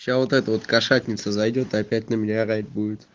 сейчас вот это вот кошатница зайдёт и опять на меня орать будет